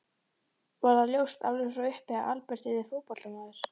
Var það ljóst alveg frá upphafi að Albert yrði fótboltamaður?